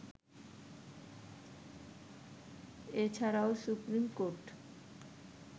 এছাড়াও সুপ্রীমকোর্ট